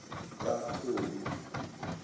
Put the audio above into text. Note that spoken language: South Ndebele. kathobi